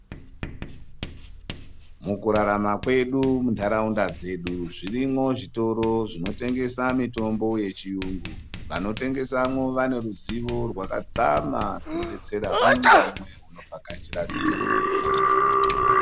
Mukurarama kwedu munharaunda dzedu zvirimwo zvitoro zvinotengesa mitombo yechiyungu. Vanotengesamwo vane ruzivo rwakadzama runobetsera umwe ngaumwe unenge achida zvitoro izvi.